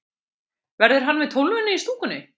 Verður hann með Tólfunni í stúkunni?